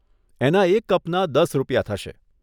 એના એક કપના દસ રૂપિયા થશે.